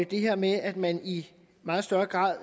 det her med at man i meget større grad